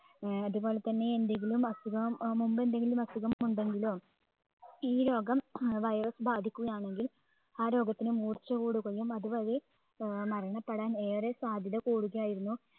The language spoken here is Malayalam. ഏർ അതുപോലെതന്നെ എന്തെങ്കിലും അസുഖം മുൻപ് എന്തെങ്കിലും അസുഖം ഉണ്ടെങ്കിലോ ഈ രോഗം ഏർ virus ബാധിക്കുകയാണെങ്കിൽ ആ രോഗത്തിന് മൂർച്ച കൂടുകയും അത് വഴി ഏർ മരണപ്പെടാൻ ഏറെ സാധ്യത കൂടുതലായിരുന്നു